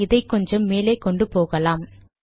இதை கொஞ்சம் மேலே கொண்டு போகலாம்